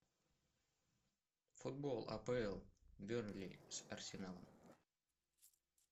футбол апл бернли с арсеналом